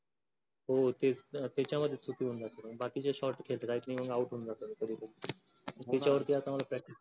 हो तेच तेच्या वरती चुकून जातो. बाकीच shot खेळतीदायक नाही होऊन out होऊन जातो मी कधी तरी. त्येचा वरती अत्ता मला